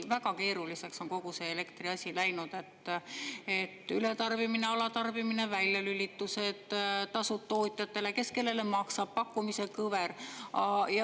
Väga keeruliseks on kogu see elektriasi läinud: ületarbimine, alatarbimine, väljalülitused, tasu tootjatele, kes kellele maksab, pakkumise kõver.